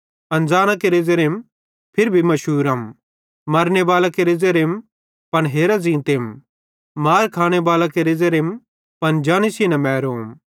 अनज़ाना केरे ज़ेरेम फिरी भी मुशूरम मरने बालां केरे ज़ेरेम पन हेरा ज़ींतेम मार खाने बालां केरे ज़ेरेम पन जानी सेइं न मैरोम